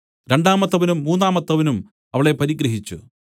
രണ്ടാമത്തവനും മൂന്നാമത്തവനും അവളെ പരിഗ്രഹിച്ച്